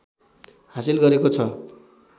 हासिल गरेको छ